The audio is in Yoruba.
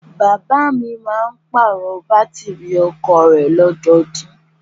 Bàbáà mi máa ń pàrọ̀ Bátìrì ọkọ̀o rẹ̀ ní ọdọọdún.